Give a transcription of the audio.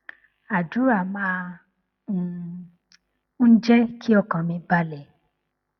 àdúrà máa um ń jé kí ọkàn mi balè